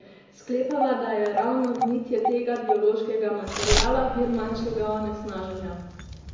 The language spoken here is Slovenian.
Sklepava, da je ravno gnitje tega biološkega materiala vir manjšega onesnaženja.